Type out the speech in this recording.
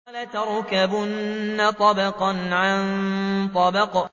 لَتَرْكَبُنَّ طَبَقًا عَن طَبَقٍ